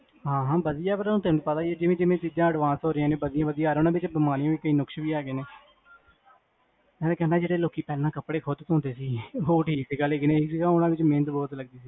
ਹਾਂ ਹਾਂ ਵਦੀਆ, ਤੈਨੂੰ ਪਤਾ ਜਿਵੇ ਜਿਵੇ ਚੀਜਾਂ advance ਹੋ ਰਹੀਆਂ ਨੇ ਵਦੀਆਂ ਵਦੀਆਂ ਆ ਰਹੀਆਂ ਨੇ ਊਨਾ ਚ ਕੁਜ ਬਿਮਾਰੀਆਂ ਨੁਕਸਾ ਵੀ ਹੈਗੇ ਨੇ, ਮਈ ਕਹਿੰਦਾ ਜਿਹੜੇ ਪਹਿਲੇ ਲੋਕੀ ਕੱਪੜੇ ਖੁਦ ਪੈਂਦੇ ਸੀ ਉਹ ਠੀਕ ਸੀ